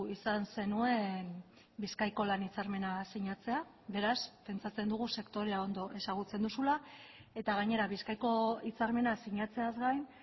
izan zenuen bizkaiko lan hitzarmena sinatzea beraz pentsatzen dugu sektorea ondo ezagutzen duzula eta gainera bizkaiko hitzarmena sinatzeaz gain